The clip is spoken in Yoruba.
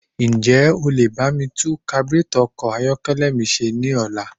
Ǹjẹ́ o lè bá mi tún kaburétọ̀ ọkọ̀ ayọ́kẹ́lẹ́ mi ṣe ní ọ̀la?